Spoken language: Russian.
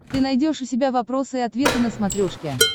ты найдешь у себя вопросы и ответы на смотрешке